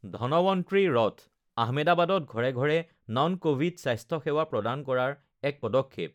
ধনৱন্ত্ৰী ৰথঃ আহমেদাবাদত ঘৰে ঘৰে নন কভিড স্বাস্থ্য সেৱা প্ৰদান কৰাৰ এক পদক্ষেপ